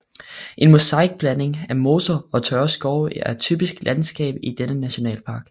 En mosaikblanding af moser og tørre skove er typisk landskab i denne nationalpark